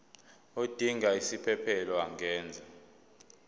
odinga isiphesphelo angenza